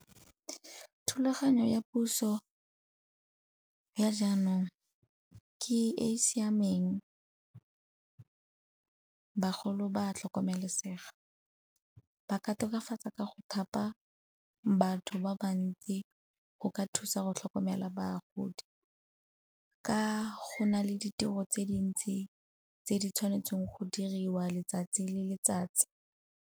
Thulaganyo ya puso ya jaanong ke e e siameng, bagolo ba tlhokomelesega. Ba ka tokafatsa ka go thapa batho ba bantsi go ka thusa go tlhokomela bagodi, ka go na le ditiro tse dintsi tse di tshwanetseng go diriwa letsatsi le letsatsi.